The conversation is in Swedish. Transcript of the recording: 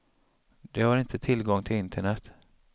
De har inte tillgång till internet.